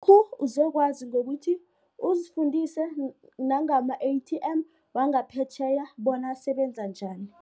uzokwazi ngokuthi uzifundise nangama-A_T_M wangaphetjheya bona asebenza njani.